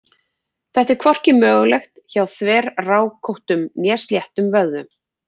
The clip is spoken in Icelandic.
Þetta er hvorki mögulegt hjá þverrákóttum né sléttum vöðvum.